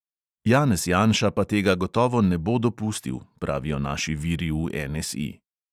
Janez janša pa tega gotovo ne bo dopustil, pravijo naši viri v NSI.